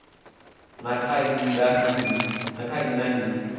na kha nnyi na nnyi